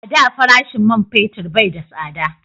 A da farashin man fetir bai da tsada